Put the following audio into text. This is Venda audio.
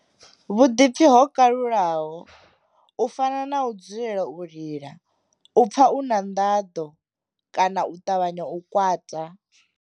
Vhuḓipfi ho kalulaho, u fana na u dzulela u lila, u pfa u na nḓaḓo kana u ṱavhanya u kwata.